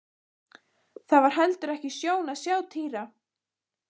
Það var heldur ekki sjón að sjá Týra.